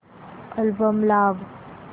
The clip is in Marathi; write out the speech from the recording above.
अल्बम लाव